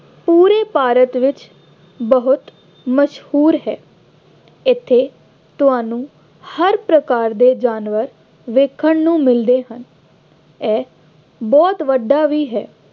ਉੱਤਰੀ ਭਾਰਤ ਵਿੱਚ ਬਹੁਤ ਮਸ਼ਹੂਰ ਹੈ। ਇੱਥੇ ਤੁਹਾਨੂੰ ਹਰ ਪ੍ਰਕਾਰ ਦੇ ਜਾਨਵਰ ਵੇਖਣ ਨੂੰ ਮਿਲਦੇ ਹਨ। ਇਹ ਬਹੁਤ ਵੱਡਾ ਵੀ ਹੈ।